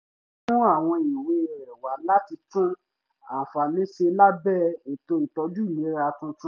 ó mú àwọn ìwé rẹ̀ wá láti tún àǹfààní ṣe lábẹ́ ètò ìtọ́jú ìlera tuntun